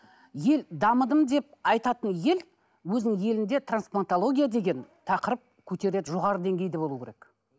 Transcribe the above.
ел дамыдым деп айтатын ел өзінің елінде трансплантология деген тақырып көтереді жоғары деңгейде болуы керек